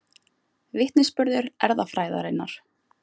Vitnisburður erfðafræðinnar.